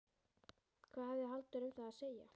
Hvað hafði Halldór um það að segja?